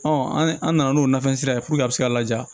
an nana n'o nafan sira ye a bɛ se ka laja